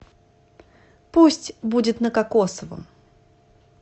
пусть будет на кокосовом